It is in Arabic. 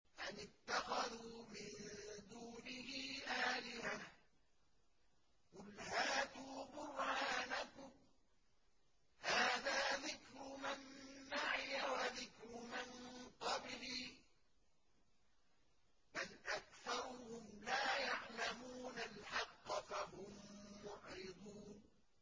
أَمِ اتَّخَذُوا مِن دُونِهِ آلِهَةً ۖ قُلْ هَاتُوا بُرْهَانَكُمْ ۖ هَٰذَا ذِكْرُ مَن مَّعِيَ وَذِكْرُ مَن قَبْلِي ۗ بَلْ أَكْثَرُهُمْ لَا يَعْلَمُونَ الْحَقَّ ۖ فَهُم مُّعْرِضُونَ